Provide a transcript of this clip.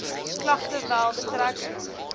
klagte wel betrekking